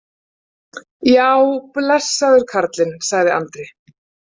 Já, blessaður karlinn, sagði Andri.